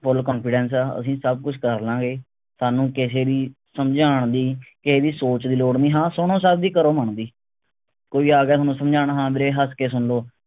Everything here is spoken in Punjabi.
full confidence ਆ ਅਸੀਂ ਸਬ ਕੁਛ ਕਰਲਾਂਗੇ ਸਾਨੂ ਕਿਸੇ ਦੀ ਸਮਝਾਣ ਦੀ ਕਿਸੇ ਦੀ ਸੋਚ ਦੀ ਲੋੜ ਨਹੀਂ ਹਾਂ ਸੁਣੋ ਸਬ ਦੀ ਕਰੋ ਮਨ ਦੀ ਕੋਈ ਆ ਗਿਆ ਥੋਨੂੰ ਸਮਝਾਣ ਹਾਂ ਵੀਰੇ ਹੱਸ ਕੇ ਸੁਨ ਲੋ